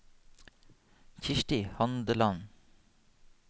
Kirsti Handeland